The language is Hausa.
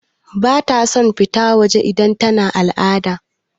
Bata son fita waje idan tana al'ada.